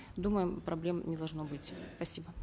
думаем проблем не должно быть спасибо